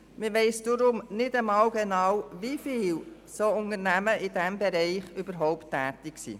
Man weiss deshalb nicht genau, wie viele Unternehmen in diesem Bereich tätig sind.